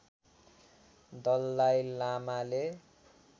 दलाई लामाले